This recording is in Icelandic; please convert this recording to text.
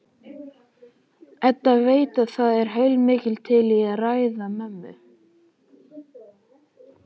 Edda veit að það er heilmikið til í ræðu mömmu.